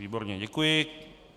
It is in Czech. Výborně, děkuji.